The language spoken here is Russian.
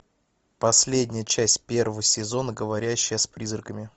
последняя часть первого сезона говорящая с призраками